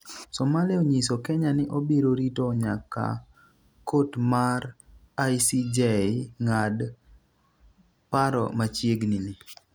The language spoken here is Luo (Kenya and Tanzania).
Somalia onyiso Kenya ni obiro rito nyaka kot mar ICJ ng'at paro machiegnini